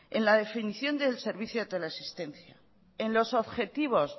en la definición del servicio de teleasistencia en los objetivos